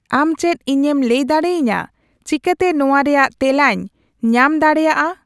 ᱟᱢ ᱪᱮᱫ ᱤᱧᱮᱢ ᱞᱟᱹᱭ ᱫᱟᱲᱮᱭᱟᱹᱧᱟᱹ ᱪᱤᱠᱟᱹᱛᱮ ᱱᱚᱶᱟ ᱨᱮᱭᱟᱜ ᱛᱮᱞᱟᱧ ᱧᱟᱢ ᱫᱟᱲᱮᱭᱟᱜᱼᱟ